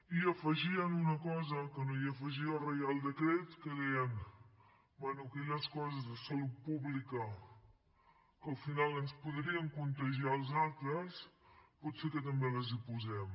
i afegien una cosa que no afegia el reial decret que deien bé aquelles coses de salut pública que al final ens podrien contagiar als altres potser que també les hi posem